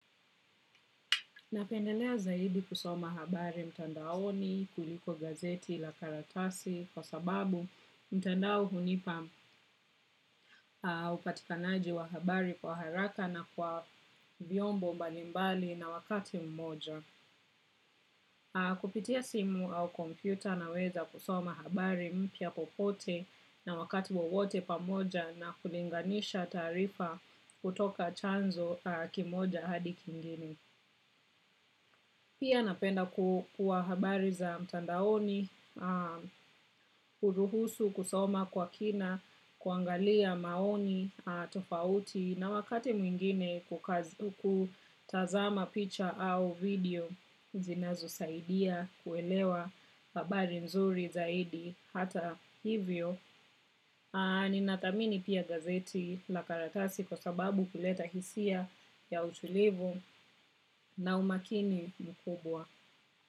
Napendelea zaidi kusoma habari mtandaoni kuliko gazeti la karatasi kwa sababu mtandao hunipa upatikanaji wa habari kwa haraka na kwa vyombo mbalimbali na wakati mmoja. Kupitia simu au kompyuta na weza kusoma habari mpya popote na wakati wowote pamoja na kulinganisha taarifa kutoka chanzo kimoja hadi kingine. Pia napenda kuwa habari za mtandaoni, huruhusu kusoma kwa kina, kuangalia maoni, tofauti na wakati mwingine kutazama picha au video zinazo saidia kuelewa habari mzuri zaidi hata hivyo. Ni nathamini pia gazeti la karatasi kwa sababu huleta hisia ya utulivu na umakini mkubwa.